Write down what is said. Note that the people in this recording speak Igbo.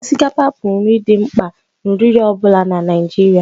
Osikapa bụ nri dị mkpa na oriri ọ bụla na Naịjirịa